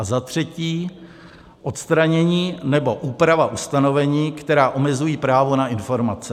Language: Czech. a za třetí, odstranění nebo úprava ustanovení, která omezují právo na informace.